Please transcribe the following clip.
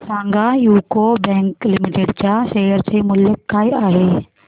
सांगा UCO bank limited च्या share चे मूल्य काय आहे